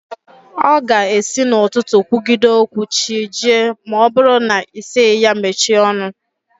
Ọ ga-esi n'ụtụtụ kwugide okwu chi jie ma ọ bụrụ na ị sịghị ya mechie ọnụ